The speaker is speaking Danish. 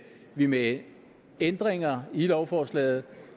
vi med ændringer i lovforslaget